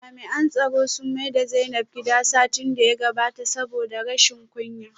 Jami'an tsaro sun maida Zainab gida satin da ya gabata saboda rashin kunya